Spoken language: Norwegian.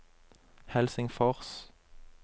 Helsingfors